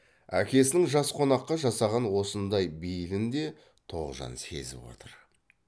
әкесінің жас қонаққа жасаған осындай бейілін де тоғжан сезіп отыр